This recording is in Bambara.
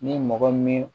Ni mɔgɔ min